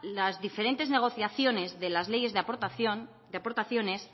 las diferentes negociaciones de las leyes de aportaciones